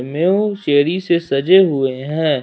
Mu cherry से सजे हुए हैं।